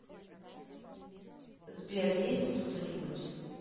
сбер есть тут кто нибудь